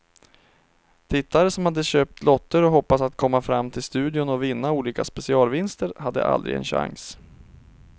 Tittare som hade köpt lotter och hoppats att komma fram till studion och vinna olika specialvinster hade aldrig en chans.